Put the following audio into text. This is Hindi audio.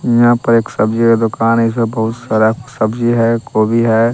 यहाँ पर एक सब्जी का दुकान है इसमें बहुत सारा सब्जी है कोबी है।